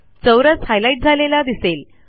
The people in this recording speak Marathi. चौरस हायलाईट झालेला दिसेल